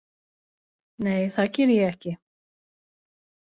Nei það geri ég ekki.